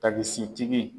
Tabisigi tigi